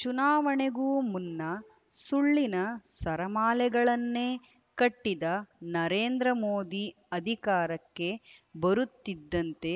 ಚುನಾವಣೆಗೂ ಮುನ್ನ ಸುಳ್ಳಿನ ಸರಮಾಲೆಗಳನ್ನೇ ಕಟ್ಟಿದ ನರೇಂದ್ರ ಮೋದಿ ಅಧಿಕಾರಕ್ಕೆ ಬರುತ್ತಿದ್ದಂತೆ